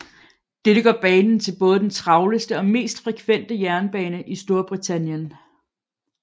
Dette gør banen til både den travleste og mest frekvente jernbane i Storbritannien